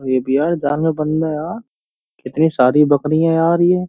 ये भी यार कितनी सारी बकरियां हैं यार ये।